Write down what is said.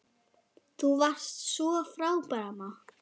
Þú varst svo frábær amma.